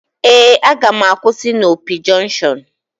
Ee, m ga-akwụsị na Opi junction